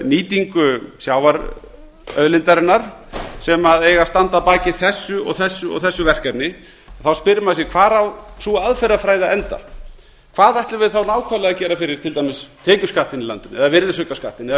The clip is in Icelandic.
nýtingu sjávarauðlindarinnar sem eigi að standa að baki þessu og þessu og þessu verkefni þá spyr maður sig hvar á sú aðferðafræði að enda hvað ætlum við þá nákvæmlega að gera fyrir til dæmis tekjuskattinn í landinu eða virðisaukaskattinn eða